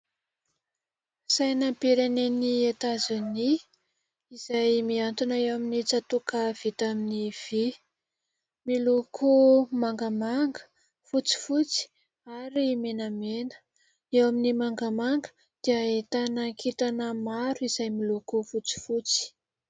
Sainam-pirenen'i Etazonia izay miantona eo amin'ny tsatoka vita amin'ny vy miloko mangamanga, fotsifotsy ary menamena. Eo amin'ny mangamanga dia ahitana kintana maro izay miloko fotsifotsy.